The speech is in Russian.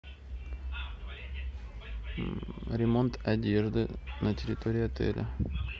ремонт одежды на территории отеля